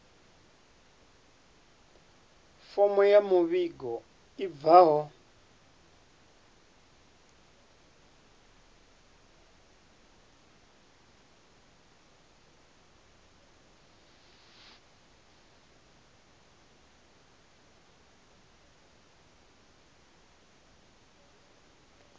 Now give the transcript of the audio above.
fomo ya muvhigo i bvaho